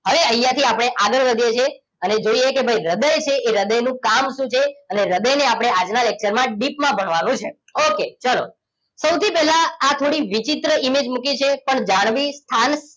હવે અહીંયાથી આપણે આગળ વધીએ છીએ અને જોઈએ કે ભાઈ હૃદય છે એ હૃદયનું કામ શું છે અને હૃદયને આપણે આજના lecture માં dip માં ભણવાનું છે ઓકે ચલો સૌથી પહેલા આ થોડી વિચિત્ર image મૂકી છે પણ જાળવી સ્થાન